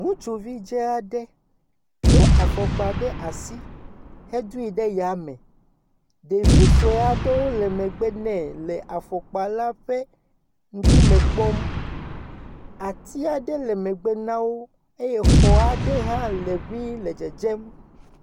Ŋutsuvi dzaa do afɔkpa ɖe asi hedoe ɖe yame. Ɖevu sue aɖewo le megbe nɛ le afɔkpala ƒe ŋkume kpɔm. Ati aɖe le megbe na wo eye xɔa ɖe hã le ŋii le dzedzem.